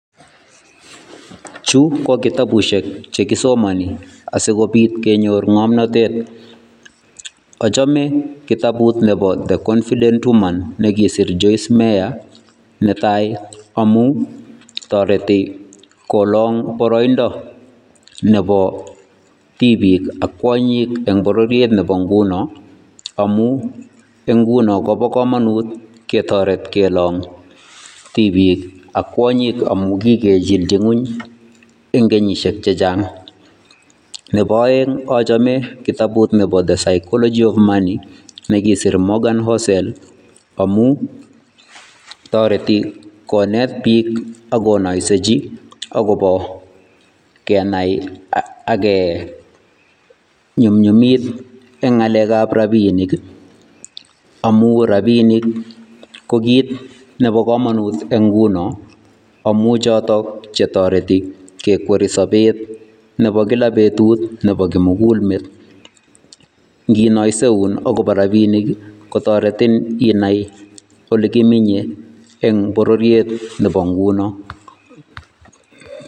Chu ko kitabushek che kisomani asikobit kenyor ng'omnatenet. Achame kitabut nebo The confident woman nekisir Joyce Mayor netai amu toreti kolong boroindo nebo tibiik ak kwonyik eng' bororiet nebo nguno, amu inguno kobo komanut ketoret kelong' tibiik ak kwonyik amu kigechilji ng'uny eng' kenyishek chechang'. Nebo aeng' achame kitabut nebo The psychology of money nekisir Morgan Housel amu toreti konet biik akonoisechi akobo kenai age nyumnyumit eng' ng'alek ab rabiinik ii amu rabinik ko kit nebo kamanut eng' nguno amu chotok chetoreti kekweri sobet nebo kila betut nebo kimugulmet. Nginoiseun akobo rabiinik kotoretin inai ole kiminye eng' bororiet nebo nguno.